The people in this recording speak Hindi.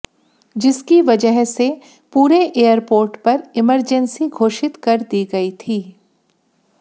जिसकी वजह से पूरे एयरपोर्ट पर इमरजेंसी घोषित कर दी गई थी